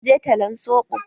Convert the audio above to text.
Zan je talan soɓo.